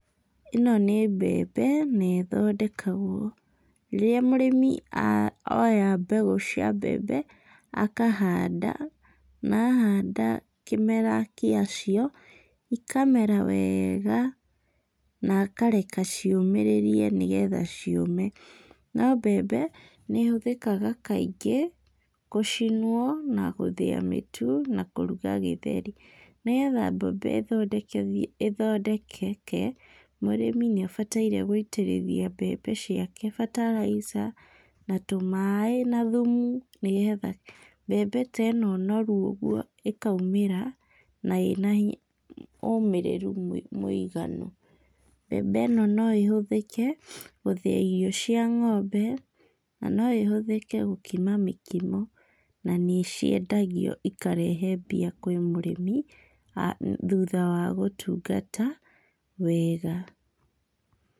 ĩno nĩ mbembe na ĩthondekwagwo rĩrĩa mũrĩmi a oya mbegũ cia mbembe akahanda, na ahanda kĩmera kĩa cio, ikamera weega, na akareka ciũmĩrĩrie nĩgetha ciũme, no mbembe nĩ ĩhũthĩkaga kaingĩ gũcinwo na gũthĩa mĩtũ, na kũruga gĩtheri, nĩgetha mbembe ĩthondekeke mũrĩmi nĩ abatairie gũitĩrĩria mbembe ciake fertilizer na tũ maaĩ na thũmu, nĩgetha mbembe ta ĩno noru ũguo ĩkaũmĩra na ĩna hinya ũmĩrĩru mũiganu, mbembe ĩno no ĩhũthĩke gũthĩa irio cia ngombe, na no ĩhũthĩke gũkima mĩkimo, na nĩ ciendagio ikarehe mbia kwĩ mũrĩmi , thũtha wa gũtugata wega.